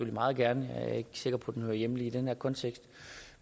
meget gerne jeg er ikke sikker på at den hører hjemme lige i den her kontekst